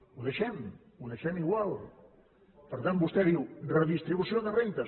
ho deixem ho deixem igual per tant vostè diu redistribució de rendes